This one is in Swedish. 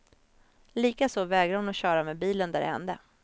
Likaså vägrar hon köra med bilen där det hände.